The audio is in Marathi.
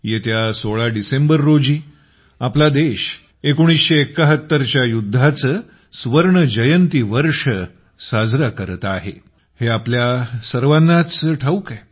येत्या 16 डिसेंबर रोजी आपला देश 1971च्या युद्धाचे स्वर्ण जयंती वर्ष साजरे करत आहे हे आपल्याला सर्वांनाच ठाऊक आहे